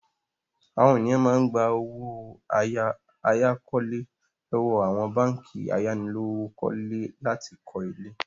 Àwọn ènìyàn máa gba owó àyákọ́lé lọ́wọ́ àwọn báńkì ayánilówókọ́lé láti kọ́ ilé.